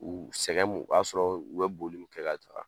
U sɛgɛn b'u kan, o y'a sɔrɔ u bɛ boli kɛ ka caya.